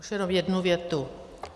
Už jenom jednu větu.